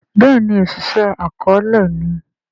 béèni Oṣiṣẹ akọọlẹ ni